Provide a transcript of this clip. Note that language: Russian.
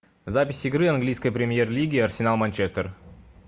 запись игры английской премьер лиги арсенал манчестер